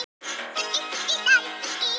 Rétt ályktað svaraði velunnari hans, hárrétt.